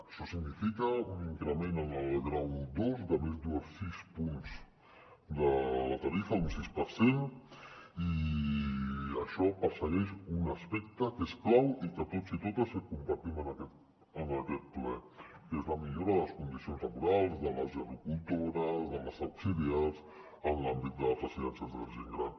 això significa un increment en el grau dos de més de sis punts de la tarifa un sis per cent i això persegueix un aspecte que és clau i que tots i totes compartim en aquest ple que és la millora de les condicions laborals de les gerocultores de les auxiliars en l’àmbit de la residències de la gent gran